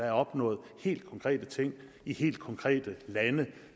er opnået helt konkrete ting i helt konkrete lande